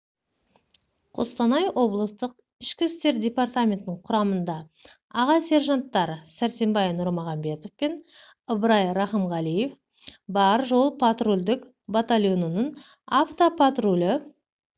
қостанай облыстық ішкі істер департаментінің құрамында аға сержанттар сәрсенбай нұрмағамбетов пен ыбырай рақымғалиев баржол-патрульдік батальонының автопатрулі